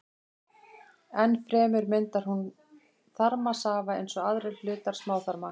Enn fremur myndar hún þarmasafa eins og aðrir hlutar smáþarma.